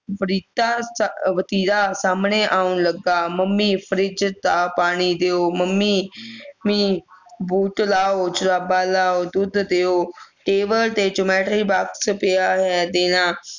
ਵਾਰਿਤਾ ਅਹ ਵਰਤੀਰਾ ਸਾਹਮਣੇ ਆਉਣ ਲੱਗਾ ਮੰਮੀ ਫਰਿੱਜ ਦਾ ਪਾਣੀ ਦਿਓ ਮੰਮੇ ਮੰਮੀ boot ਲਾਊ ਜੁਰਾਬਾਂ ਲਾਊ ਦੁੱਧ ਦਿਓ table ਤੇ geometry box ਪਿਆ ਹੋਇਆ ਹੈ ਦੇਣਾ